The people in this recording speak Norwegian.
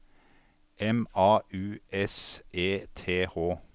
M A U S E T H